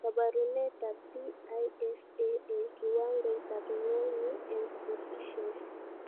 Kabarunetab PISA eng kiwangoitab ngwony eng Proficiency